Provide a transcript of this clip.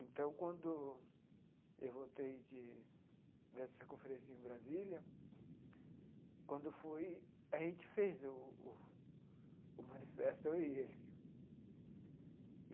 Então, quando eu voltei de dessa conferência em Brasília, quando fui, a gente fez o o o manifesto, eu e ele.